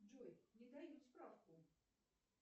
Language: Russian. джой не дают справку